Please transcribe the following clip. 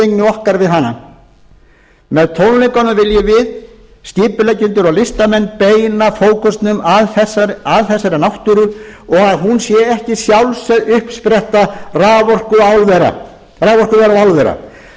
okkar við hana með tónleikunum viljum við skipuleggjendur og listamenn beina fókusnum að þessari náttúru og að hún sé ekki sjálfsögð uppspretta raforkuvera og álvera